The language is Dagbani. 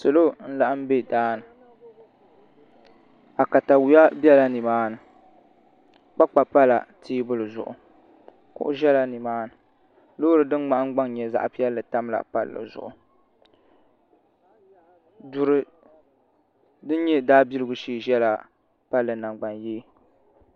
Salo n laɣam bɛ daani akatawiya bɛla nimaani kpakpa pala teebuli zuɣu kuɣu ʒɛla nimaani loori din nahangbaŋ nyɛ zaɣ piɛlli tamla palli zuɣu duri din nyɛ daabiligu shee ʒɛla palli nangbani yee